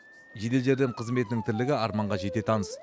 жедел жәрдем қызметінің тірлігі арманға жете таныс